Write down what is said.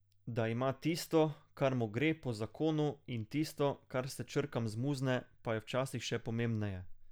Da ima tisto, kar mu gre po zakonu in tisto, kar se črkam zmuzne, pa je včasih še pomembneje.